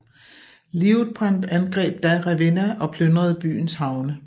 Liutprand angreb da Ravenna og plyndrede byens havne